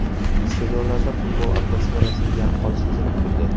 Stadionlarda futbol atmosferasi yaqqol sezilib turdi.